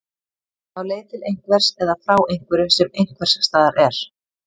Á leið til einhvers eða frá einhverju sem einhvers staðar er.